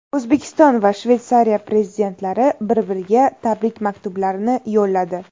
O‘zbekiston va Shveysariya prezidentlari bir-biriga tabrik maktublarini yo‘lladi.